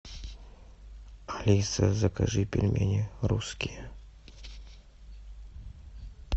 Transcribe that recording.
алиса закажи пельмени русские